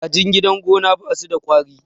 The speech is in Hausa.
kajin gidan gona ba su da kwari